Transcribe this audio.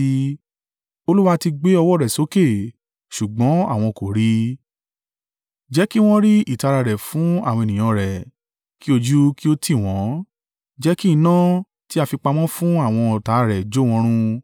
Olúwa, ti gbé ọwọ́ rẹ̀ sókè ṣùgbọ́n àwọn kò rí i. Jẹ́ kí wọ́n rí ìtara rẹ fún àwọn ènìyàn rẹ kí ojú kí ó tì wọ́n; jẹ́ kí iná tí a fi pamọ́ fún àwọn ọ̀tá rẹ jó wọn run.